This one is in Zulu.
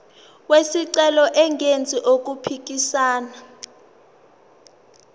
wesicelo engenzi okuphikisana